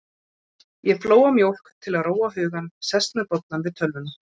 Ég flóa mjólk til að róa hugann, sest með bollann við tölvuna.